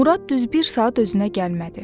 Murad düz bir saat özünə gəlmədi.